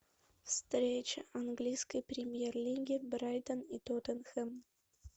встреча английской премьер лиги брайтон и тоттенхэм